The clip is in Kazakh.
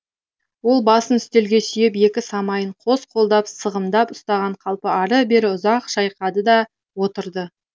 ол басын үстелге сүйеп екі самайын қос қолдап сығымдап ұстаған қалпы ары бері ұзақ шайқады да отырды